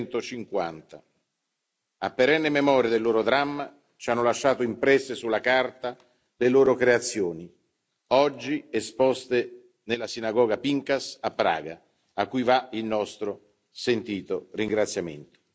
150. A perenne memoria del loro dramma, ci hanno lasciato impresse sulla carta le loro creazioni oggi esposte nella sinagoga Pinkas a Praga, a cui va il nostro sentito ringraziamento.